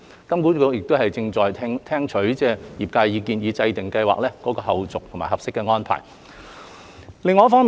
金管局正聽取業界意見，以制訂計劃的後續和合適安排。